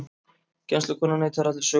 Kennslukonan neitar allri sök